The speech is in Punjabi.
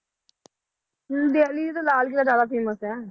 ਦਿੱਲੀ ਦਾ ਲਾਲ ਕਿੱਲਾ ਜ਼ਿਆਦਾ famous ਹੈ,